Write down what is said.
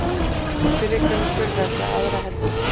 Fyrri göngur verða aðra helgi.